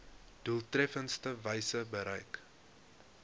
doeltreffendste wyse bereik